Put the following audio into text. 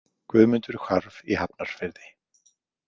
Guðmundur hvarf í Hafnarfirði.